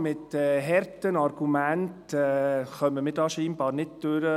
Mit harten Argumenten kommen wir hier scheinbar nicht durch.